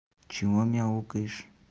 почему мяукаешь